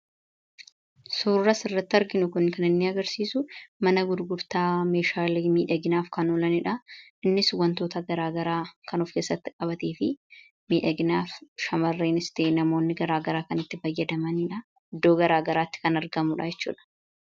Suurri as irratti arginu kun kan inni agarsiisu mana gurgurtaa meeshaalee miidhaginaaf kan olaniidha. Innis wantoota garaa garaa kan of keessatti qabatee fi miidhaginaaf shamarraniis ta'e namoonni garaa garaa kan itti fayyadamaniidha. Iddoo garaa garaatti kan argamudha jechuudha.